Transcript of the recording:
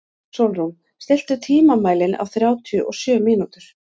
Sólrún, stilltu tímamælinn á þrjátíu og sjö mínútur.